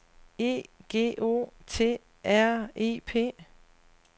E G O T R I P